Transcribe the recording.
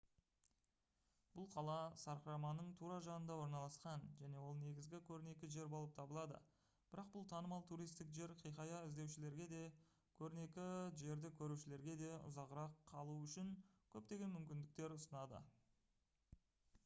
бұл қала сарқыраманың тура жанында орналасқан және ол негізгі көрнекі жер болып табылады бірақ бұл танымал туристік жер хикая іздеушілерге де көрнекі жерді көрушілерге де ұзағырақ қалу үшін көптеген мүмкіндіктерді ұсынады